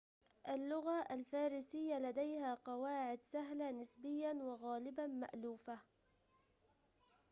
اللغة الفارسية لديها قواعد سهلة نسبياً وغالباً مألوفة